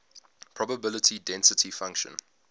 probability density function